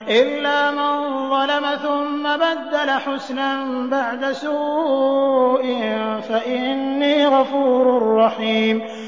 إِلَّا مَن ظَلَمَ ثُمَّ بَدَّلَ حُسْنًا بَعْدَ سُوءٍ فَإِنِّي غَفُورٌ رَّحِيمٌ